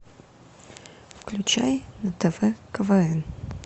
включай на тв квн